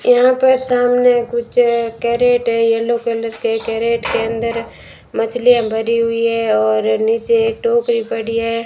यहां पर सामने कुछ कैरेट है येलो कलर के कैरेट के अंदर मछलियां भरी हुई है और नीचे एक टोकरी पड़ी है।